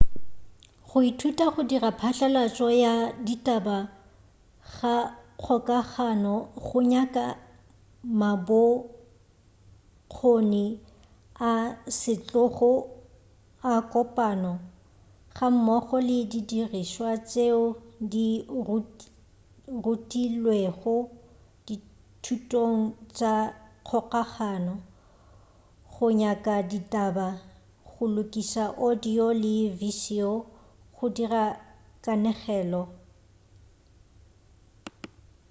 go ithuta go dira phatlalatšo ya ditaba ga kgokagano go nyaka mabokgoni a setlogo a kopano gammogo le didirišwa tšeo di rutilwego dithutong tša kgokagano go nyaka ditaba go lokiša audio le viseo go dira kanegelo bjbj.